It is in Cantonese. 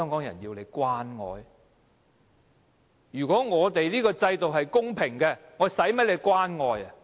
如果我們的制度是公平的，我們何需官員關愛。